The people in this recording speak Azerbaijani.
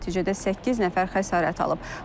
Nəticədə səkkiz nəfər xəsarət alıb.